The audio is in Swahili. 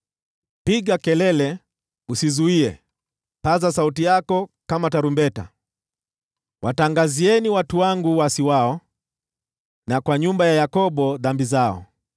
“Piga kelele, usizuie. Paza sauti yako kama tarumbeta. Watangazieni watu wangu uasi wao, na kwa nyumba ya Yakobo dhambi zao.